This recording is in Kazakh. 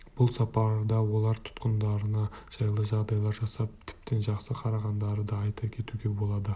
бұл сапарда олар тұтқындарына жайлы жағдайлар жасап тіптен жақсы қарағандарын да айта кетуге болады